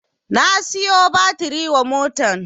Na siyo batiri wa motan